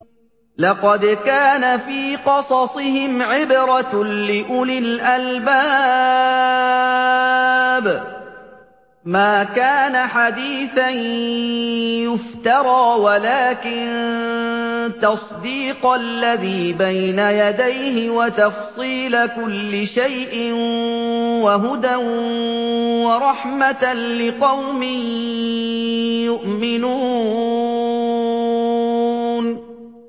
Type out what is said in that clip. لَقَدْ كَانَ فِي قَصَصِهِمْ عِبْرَةٌ لِّأُولِي الْأَلْبَابِ ۗ مَا كَانَ حَدِيثًا يُفْتَرَىٰ وَلَٰكِن تَصْدِيقَ الَّذِي بَيْنَ يَدَيْهِ وَتَفْصِيلَ كُلِّ شَيْءٍ وَهُدًى وَرَحْمَةً لِّقَوْمٍ يُؤْمِنُونَ